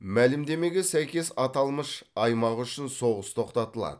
мәлімдемеге сәйкес аталмыш аймақ үшін соғыс тоқтатылады